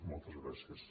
moltes gràcies